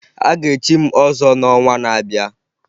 Aga echi m ọzọ n'ọnwa na-abịa